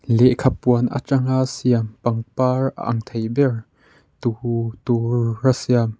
lehkha puan atanga siam pangpar ang thei ber tuhu tura siam--